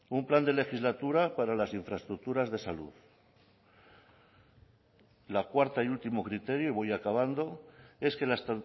un plan de legislatura para las infraestructuras de salud la cuarta y último criterio y voy acabando es que las